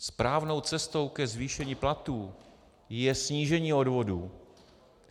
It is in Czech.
Správnou cestou ke zvýšení platů je snížení odvodů.